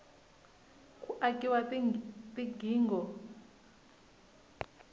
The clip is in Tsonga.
ku akiwa ka tigingho